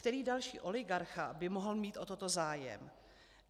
Který další oligarcha by mohl mít o toto zájem?